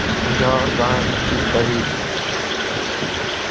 ગણતરી કરી.